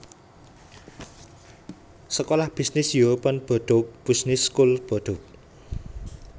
Sekolah bisnis European Bordeaux Business School Bordeaux